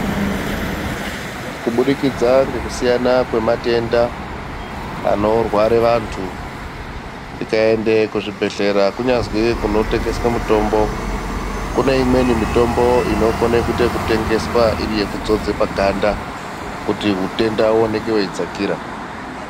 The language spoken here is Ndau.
Kudibudikidza ngekusiyana kwematenda, anorware vantu, tikaende kuchibhedhlera kunyazwi kunotengeswe mitombo ,kune imweni mitombo inokone kuite ekutengeswa iri yekudzodzwe paganda, kuti utenda uoneke weidzakira.